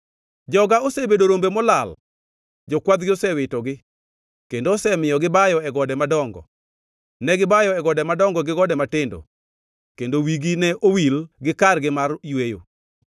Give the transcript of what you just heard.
“Joga osebedo rombe molal; jokwathgi osewitogi, kendo osemiyogi bayo e gode madongo. Negibayo e gode madongo gi gode matindo, kendo wigi ne owil gi kargi mar yweyo.